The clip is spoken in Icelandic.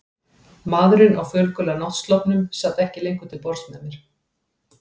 Maðurinn á fölgula náttsloppnum sat ekki lengur til borðs með mér.